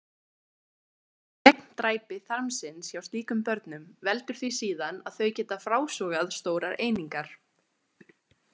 Gegndræpi þarmsins hjá slíkum börnum veldur því síðan að þau geta frásogað stórar einingar.